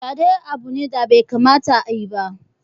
Fyaɗe abu ne da bai kamata a yi ba.